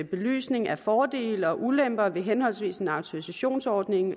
belysning af fordele og ulemper ved henholdsvis en autorisationsordning